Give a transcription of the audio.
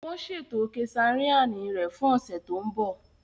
Wọn ṣeto kesareani rẹ fun ọsẹ to nbo.